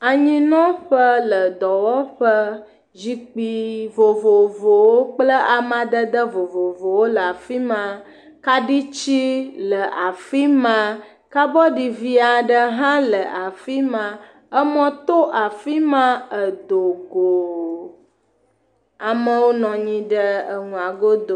Anyinɔƒe le dɔwɔƒe. Zikpui vovovowo kple amadede vovovowo le afi ma. Kaɖitsi le afi ma. Kabɔdi vi aɖe hã le afi ma. Emɔ to afi ma edo go. Amewo nɔ anyi ɖe eŋua godo.